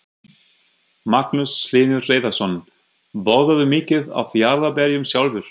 Magnús Hlynur Hreiðarsson: Borðarðu mikið af jarðarberjum sjálfur?